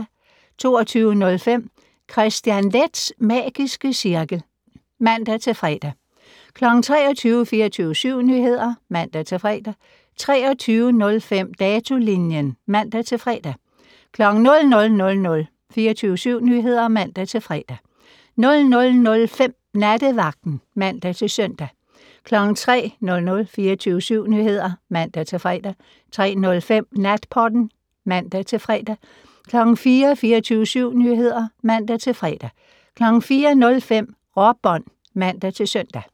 22:05: Kristian Leths magiske cirkel (man-fre) 23:00: 24syv Nyheder (man-fre) 23:05: Datolinjen (man-fre) 00:00: 24syv Nyheder (man-fre) 00:05: Nattevagten (man-søn) 03:00: 24syv Nyheder (man-fre) 03:05: Natpodden (man-fre) 04:00: 24syv Nyheder (man-fre) 04:05: Råbånd (man-søn)